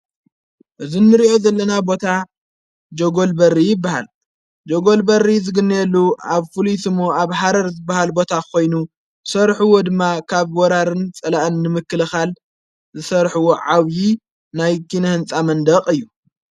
እዝ ንርእዑ ዘለና ቦታ ጀጐል በሪ በሃል ጀጐል በሪ ዝግነየሉ ኣብ ፍሉስሙ ኣብ ሓረር ዝበሃል ቦታ ኾይኑ ሠርኅዎ ድማ ካብ ወራርን ጸላአን ንምክልኻል ዝሠርሕዎ ዓውዪ ናይ ጊነ ሕንጻ መንደቕ እዩ።